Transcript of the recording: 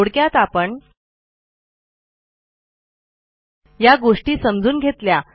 थोडक्यात आपण या गोष्टी समजून घेतल्या